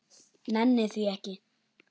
Nenni því ekki